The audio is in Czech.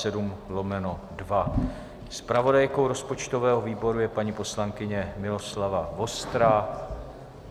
Zpravodajkou rozpočtového výboru je paní poslankyně Miloslava Vostrá.